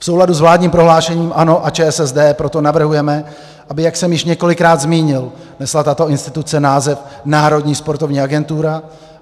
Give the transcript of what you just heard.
V souladu s vládním prohlášením ANO a ČSSD proto navrhujeme, aby - jak jsem již několikrát zmínil - nesla tato instituce název Národní sportovní agentura.